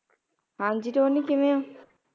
ਹਾਂਜੀ ਟੋਨੀ ਕਿਵੇਂ